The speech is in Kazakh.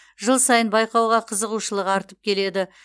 жыл сайын байқауға қызығушылық артып келеді